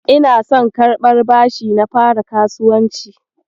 Ina son karɓar bashi na fara kasuwanci.